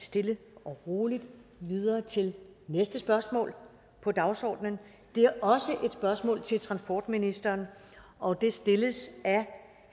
stille og roligt videre til næste spørgsmål på dagsordenen det er også et spørgsmål til transportministeren og det stilles af